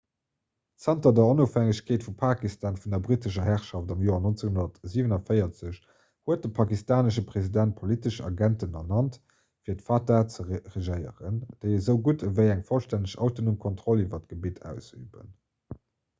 zanter der onofhängegkeet vu pakistan vun der brittescher herrschaft am joer 1947 huet de pakistanesche president politesch agenten ernannt fir d'fata ze regéieren déi esou gutt ewéi eng vollstänneg autonom kontroll iwwer d'gebitt ausüben